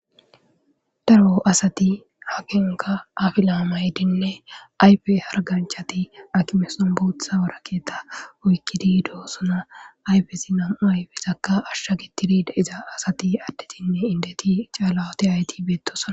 Daro asati hagenka afilamaydinne aype harganchati akimeson buutha warakeeta oykkidi doossona ayfesi nam7u aypezakka ashsha gittidi daiza asati addetinne indeti caalawoti hayti beettosana.